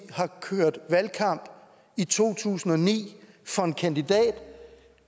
kørte valgkamp i to tusind og ni for en kandidat